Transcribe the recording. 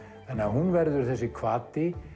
hún verður þessi hvati